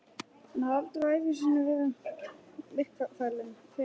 Hann hafði aldrei á ævi sinni verið myrkfælinn fyrr.